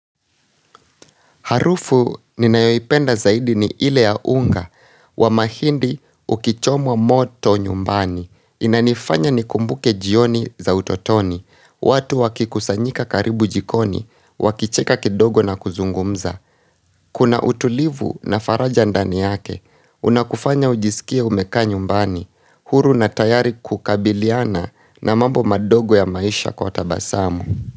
Harufu ninayoipenda zaidi ni ile ya unga, wa mahindi ukichomwa moto nyumbani. Inanifanya nikumbuke jioni za utotoni, watu wakikusanyika karibu jikoni, wakicheka kidogo na kuzungumza. Kuna utulivu na faraja ndani yake, unakufanya ujisikie umekaa nyumbani, huru na tayari kukabiliana na mambo madogo ya maisha kwa tabasamu.